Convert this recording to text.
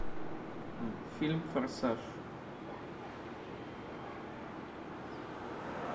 фильм форсаж